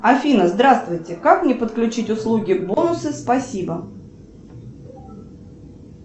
афина здравствуйте как мне подключить услуги бонусы спасибо